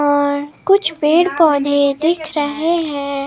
और कुछ पेड़ पौधे दिख रहे हैं।